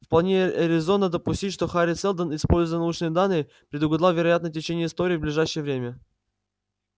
вполне резонно допустить что хари сэлдон используя научные данные предугадал вероятное течение истории в ближайшее время